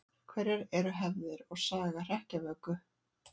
Hverjar eru hefðir og saga hrekkjavöku?